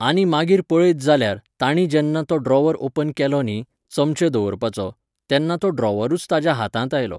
आनी मागीर पळयत जाल्यार, तांणी जेन्ना तो ड्रॉवर ओपन केलो न्ही, चमचे दवरपाचो, तेन्ना तो ड्रॉवरूच ताज्या हातांत आयलो.